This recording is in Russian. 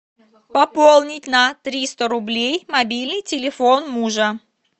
пополнить на триста рублей мобильный телефон мужа